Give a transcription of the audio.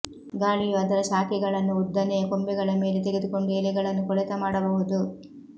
ಗಾಳಿಯು ಅದರ ಶಾಖೆಗಳನ್ನು ಉದ್ದನೆಯ ಕೊಂಬೆಗಳ ಮೇಲೆ ತೆಗೆದುಕೊಂಡು ಎಲೆಗಳನ್ನು ಕೊಳೆತ ಮಾಡಬಹುದು